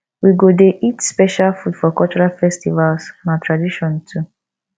we go dey eat special food for cultural festivals na tradition too